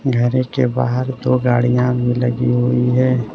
घर के बाहर दो गाड़ियां भी लगी हुई है।